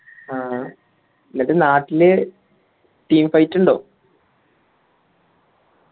ആ എന്നിട്ട് നാട്ടിൽ team fight ഉണ്ടോ